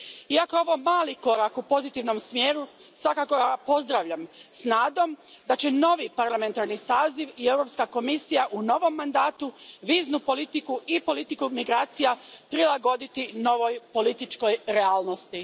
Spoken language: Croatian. Iako je ovo mali korak u pozitivnom smjeru, svakako ga pozdravljam, s nadom da će novi parlamentarni saziv i Europska komisija u novom mandatu viznu politiku i politiku migracija prilagoditi novoj političkoj realnosti.